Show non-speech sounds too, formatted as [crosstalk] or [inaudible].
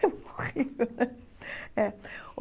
É Eu morri. [laughs]